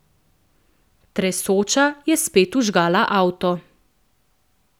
Tresoča je spet vžgala avto.